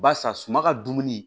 Barisa suman ka dumuni